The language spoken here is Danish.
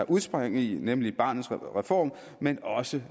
udspring i nemlig barnets reform men også